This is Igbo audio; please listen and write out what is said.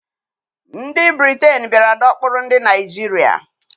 Ndị Britain bịara dọkpụrụ ndị Naịjirịa.